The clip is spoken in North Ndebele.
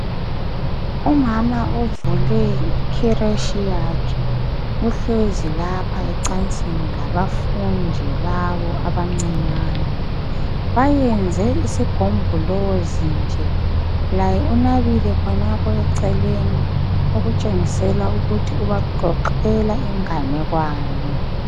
Umama uvule ikiretshi yakhe. Uhlezi lapha ecansini labafundi labo abancinyane. Bayenze isigombolozi nje laye unabile khonapho eceleni okutshengisela ukuthi ubaxoxela inganekwane.